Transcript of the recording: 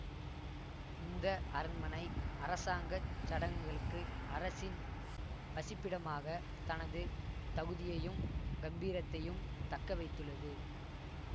இந்த அரண்மனை அரசாங்க சடங்குகளுக்கு அரசின் வசிப்பிடமாக தனது தகுதியையும் கம்பீரத்தையும் தக்க வைத்துள்ளது